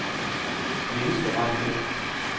menneskerettigheder